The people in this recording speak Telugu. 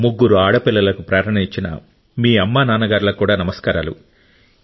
ముగ్గురు ఆడపిల్లలకు ప్రేరణనిచ్చిన మీ అమ్మా నాన్నలకు నమస్కారాలు